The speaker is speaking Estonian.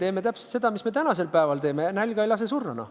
Teeme täpselt seda, mida me tänasel päevalgi teeme: nälga ei lase surra.